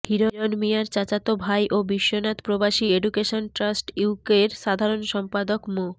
হিরণ মিয়ার চাচাতো ভাই ও বিশ্বনাথ প্রবাসী এডুকেশন ট্রাস্ট ইউকের সাধারণ সম্পাদক মো